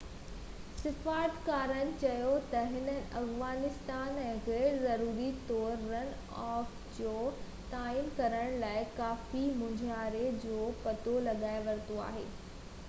سفارتڪارن چيو ته هنن افغان آئين ۾ غيرضروري طور رن آف جو تعين ڪرڻ لاءِ ڪافي مونجهاري جو پتو لڳائي ورتو آهي